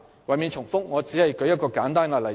為免重複，我只舉出一個簡單例子。